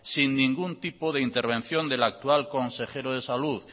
sin ningún tipo de intervención del actual consejero de salud